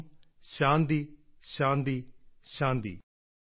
ഓം ശാന്തി ശാന്തി ശാന്തി